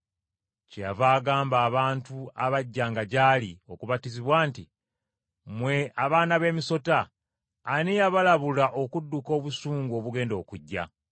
Kyeyava agamba abantu abajjanga gy’ali okubatizibwa nti, “Mmwe abaana b’emisota, ani eyabalabula okudduka obusungu obugenda okujja?